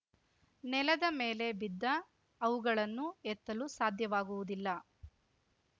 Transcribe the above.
ನೆಲದ ಮೇಲೆ ಬಿದ್ದ ಅವುಗಳನ್ನು ಎತ್ತಲು ಸಾಧ್ಯವಾಗುವುದಿಲ್ಲ